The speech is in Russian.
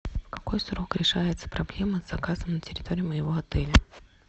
в какой срок решается проблема заказа на территории моего отеля